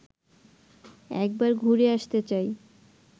একবার ঘুরে আসতে চাই